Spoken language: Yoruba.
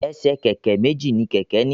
Ẹsẹ̀ kẹ̀kẹ́ méjì ni kẹ̀kẹ́ ní.